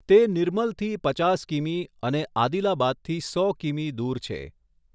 તે નિર્મલથી પચાસ કિમી અને આદિલાબાદથી સો કિમી દૂર છે.